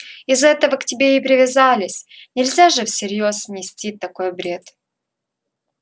из-за этого к тебе и привязались нельзя же всерьёз нести такой бред